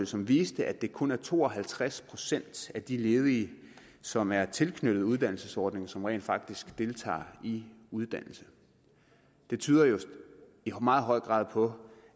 som viste at det kun er to og halvtreds procent af de ledige som er tilknyttet uddannelsesordningen som rent faktisk deltager i uddannelse det tyder i meget høj grad på